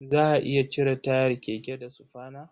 Za a iya cire tayar keke da sufana.